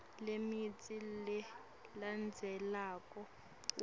lemitsi lelandzelako uma